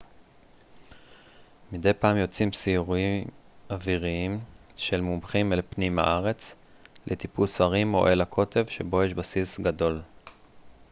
מדי פעם יוצאים סיורי אוויריים של מומחים אל פנים הארץ לטיפוס הרים או אל הקוטב שבו יש בסיס גדול